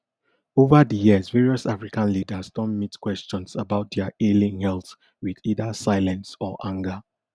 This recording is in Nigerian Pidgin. ova di years various african leaders don meet questions about dia ailing health wit either silence or anger